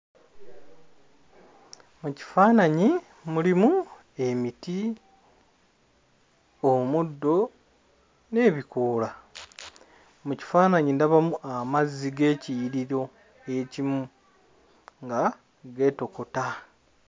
Ekifaananyi mulimu emiti, omuddo n'ebikoola. Mu kifaananyi ndabamu amazzi g'ekiyiriro ekimu nga geetokota.